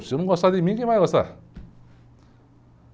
Se eu não gostar de mim, quem vai gostar?